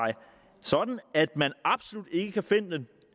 sådan at man absolut ikke kan forvente